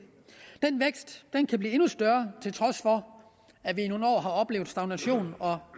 den vækst kan blive endnu større til trods for at vi i nogle år har oplevet stagnation og